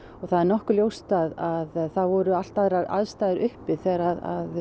það er nokkuð ljóst að það voru allt aðrar aðstæður uppi þegar